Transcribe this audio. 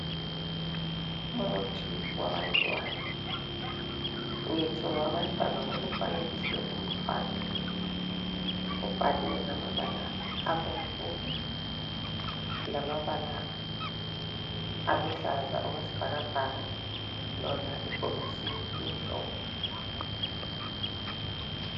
Umuthi wabantwana. Ngithi ngowabantwana ngoba ufanekiswe umntwana .Ubhalwe ngamabala abomvu lamabala aluhlaza okwesibhakabhaka Lona ibhokisi limhlophe